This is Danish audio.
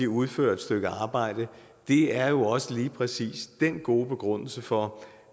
udfører et stykke arbejde er jo også lige præcis den gode begrundelse for